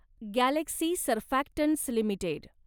Galaxy surfactants limited